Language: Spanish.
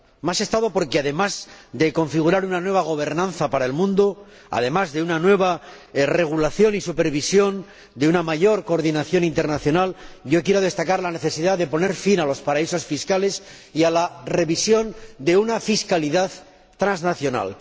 Más Estado porque, además de configurar una nueva gobernanza para el mundo, además de una nueva regulación y supervisión, y de una mayor coordinación internacional, quiero destacar la necesidad de poner fin a los paraísos fiscales y a la revisión de una fiscalidad transnacional.